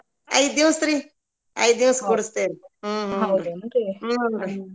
ಐದ್ ದಿವಸ್ರಿ ಐದ್ ದಿವಸ ಕುರಸ್ತೆವ್ರಿ .